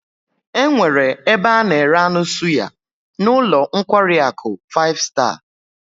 E nwere ebe a na-ere anu suya n'ulo nkwari aku five star